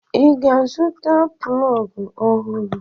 I ga-azụta plọgụ ọhụrụ?